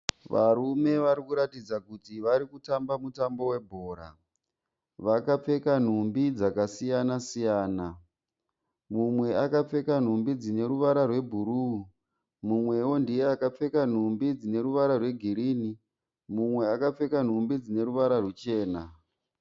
Varume varikuratidza kuti varikutamba mutambo webhora. Vakapfeka nhumbi dzakasiyana-siyana. Mumwe akapfeka nhumbi dzineruvara rwebhuruu, mumwewo ndiye akapfeka nhumbi dzineruvara rwegirinhi mumwe akapfeka nhumbi dzineruvara rwuchena.